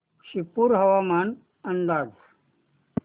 शिरपूर हवामान अंदाज